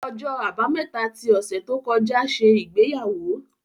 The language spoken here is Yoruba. Ọjọ́ Àbámẹ́ta ti ọ̀sẹ̀ tó kọjá ṣe ìgbéyàwó.